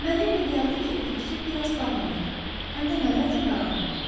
Mənə elə gəldi ki, fikri biraz dağınıqdır, həm də nədənsə narahatdır.